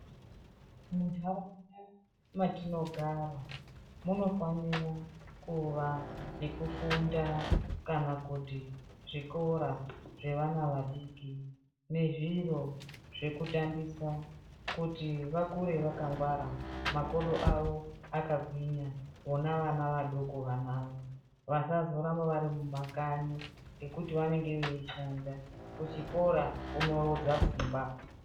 Munharaunda matinogara munofane kuva nekufunda kana kuti zvikora zvevana vadiki nezviro zvekutambisa kuti vakure vakangwara makodo awo akagwinya vona vana vadoko vanoava vasazoramba varimumakanyi ngekuti vanenge veishanda kuchikora kunorodza pfungwa.